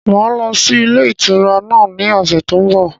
Máa lọ sí ilé ìtura náà ni ọ̀sẹ̀ tó ń bọ̀.